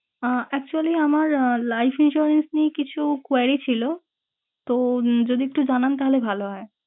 আহ Actually আমার আহ life insurance নিয়ে কিছু query ছিলো। তো উম যদি একটু জানান তাহলে ভালো হয়।